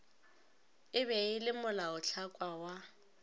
e be le molaotlhakwa wa